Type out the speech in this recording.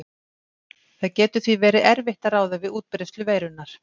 Það getur því verið erfitt að ráða við útbreiðslu veirunnar.